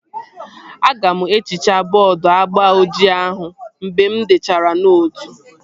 Aga m ehichaa bọọdu agba ojii ahụ mgbe m dechara nootu